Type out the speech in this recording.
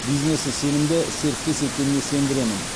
бизнесі сенімді серіктес екеніне сендіремін